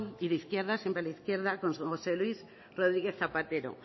y de izquierda siempre a la izquierda con josé luis rodríguez zapatero